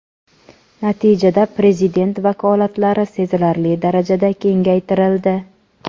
natijada prezident vakolatlari sezilarli darajada kengaytirildi.